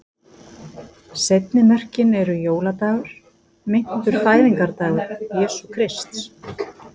Seinni mörkin eru jóladagur, meintur fæðingardagur Jesú Krists.